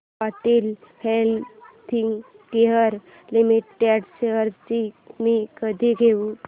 Cadila healthcare limited shares मी कधी घेऊ